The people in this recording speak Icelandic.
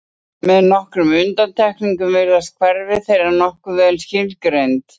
Með aðeins nokkrum undantekningum virðast hverfi þeirra nokkuð vel skilgreind.